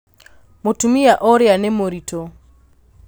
Mũtumia ũrĩa nĩ mũritũ